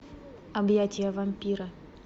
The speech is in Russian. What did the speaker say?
объятия вампира